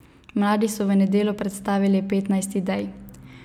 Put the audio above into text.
Mladi so v nedeljo predstavili petnajst idej.